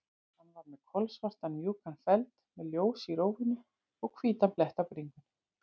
Hann var með kolsvartan, mjúkan feld, með ljós í rófunni og hvítan blett á bringunni.